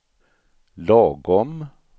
lagom